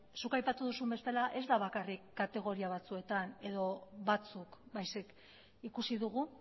zuk aipatu duzun bezala ez da bakarrik kategoria batzuetan edo batzuk baizik ikusi dugu